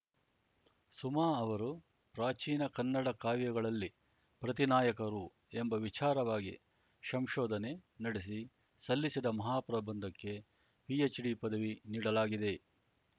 ಸುಮಾ ಅವರು ಪ್ರಾಚೀನ ಕನ್ನಡ ಕಾವ್ಯಗಳಲ್ಲಿ ಪ್ರತಿ ನಾಯಕರು ಎಂಬ ವಿಚಾರವಾಗಿ ಶಂಶೋಧನೆ ನಡೆಸಿ ಸಲ್ಲಿಸಿದ ಮಹಾಪ್ರಬಂಧಕ್ಕೆ ಪಿಎಚ್‌ಡಿ ಪದವಿ ನೀಡಲಾಗಿದೆ